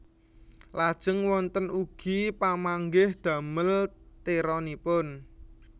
Lajeng wonten ugi pamanggih damel tironipun